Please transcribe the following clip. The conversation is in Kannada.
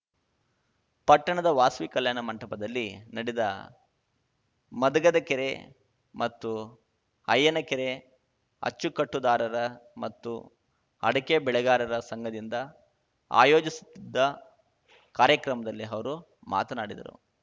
ಪಟ್ಟಣದ ವಾಸವಿ ಕಲ್ಯಾಣ ಮಂಟಪದಲ್ಲಿ ನಡೆದ ಮದಗದಕೆರೆ ಮತ್ತು ಅಯ್ಯನಕೆರೆ ಅಚ್ಚುಕಟ್ಟುದಾರರ ಮತ್ತು ಅಡಕೆ ಬೆಳೆಗಾರರ ಸಂಘದಿಂದ ಆಯೋಜಿಸುತ್ತಿದ್ದ ಕಾರ್ಯಕ್ರಮದಲ್ಲಿ ಅವರು ಮಾತನಾಡಿದರು